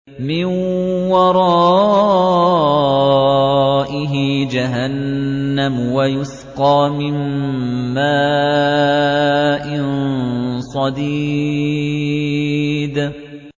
مِّن وَرَائِهِ جَهَنَّمُ وَيُسْقَىٰ مِن مَّاءٍ صَدِيدٍ